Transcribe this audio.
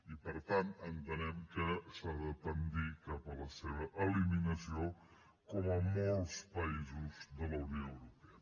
i per tant entenem que s’ha de tendir cap a la seva eliminació com en molts països de la unió europea